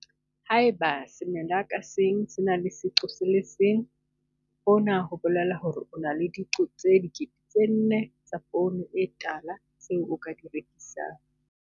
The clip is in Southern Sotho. Ha eba semela ka seng se na le seqo se le seng. Hona ho bolela hore o na le diqo tse 4000, tse nne, tsa poone e tala tseo o ka di rekisang.